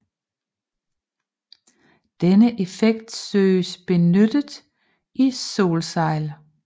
Denne effekt søges benyttet i solsejl